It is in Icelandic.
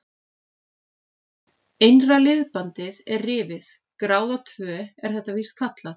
Innra liðbandið er rifið, gráða tvö er þetta víst kallað.